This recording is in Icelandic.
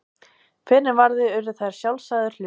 Fyrr en varði urðu þær sjálfsagður hlutur.